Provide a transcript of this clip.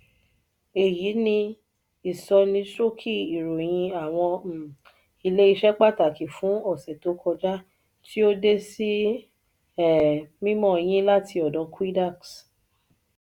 èyí ni ìsọníṣókí ìròyìn awọn um ilé iṣẹ pàtàkì fún ọsẹ tó kọjá tí o de sí um mímọ yin láti ọdọ quidax.